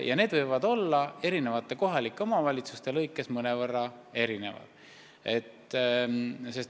Ja need võivad olla eri omavalitsustes mõnevõrra erinevad.